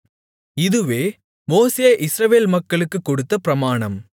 இதுவே மோசே இஸ்ரவேல் மக்களுக்கு கொடுத்த பிரமாணம்